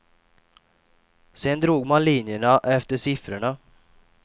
Sedan drog man linjerna efter siffrorna.